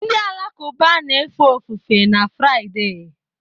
Ndị Alakụba na-efe ofufe na Fraịde